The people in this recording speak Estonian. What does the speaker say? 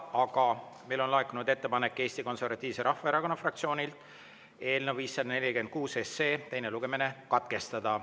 Aga meile on Eesti Konservatiivse Rahvaerakonna fraktsioonilt laekunud ettepanek eelnõu 546 teine lugemine katkestada.